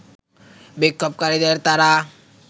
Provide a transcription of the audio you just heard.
বিক্ষোভকারীদের তারা